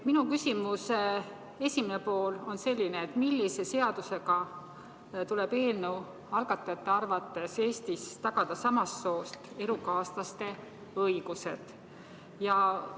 Minu küsimuse esimene pool on selline: millise seadusega tuleb eelnõu algatajate arvates Eestis tagada samast soost elukaaslaste õigused?